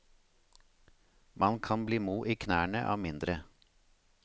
Man kan bli mo i knærne av mindre.